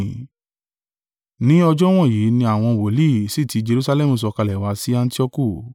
Ní ọjọ́ wọ̀nyí ni àwọn wòlíì sì ti Jerusalẹmu sọ̀kalẹ̀ wá sí Antioku.